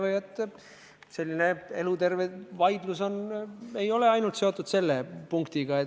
Need on eluterved vaidlused ja need ei ole seotud ainult selle punktiga.